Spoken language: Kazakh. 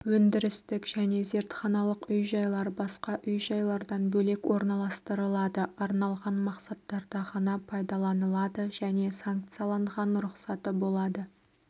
өндірістік және зертханалық үй-жайлар басқа үй-жайлардан бөлек орналастырылады арналған мақсаттарда ғана пайдаланылады және санкцияланған рұқсаты болады